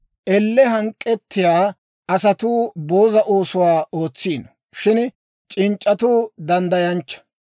Elle hank'k'ettiyaa asatuu booza oosuwaa ootsiino. Shin c'inc'c'atuu danddayanchcha.